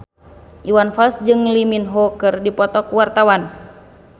Iwan Fals jeung Lee Min Ho keur dipoto ku wartawan